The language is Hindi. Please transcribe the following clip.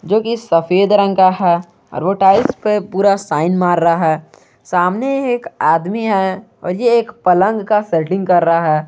जो की सफेद रंग का है और वो टाइल्स पे पुरा शाइन मार रहा है सामने ही एक आदमी है और ये एक पलंग का सेटिंग कर रहा है।